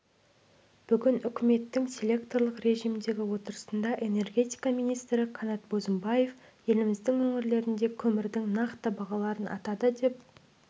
бүгін үкіметтің селекторлық режімдегі отырысында энергетика министрі қанат бозымбаев еліміздің өңірлерінде көмірдің нақты бағаларын атады деп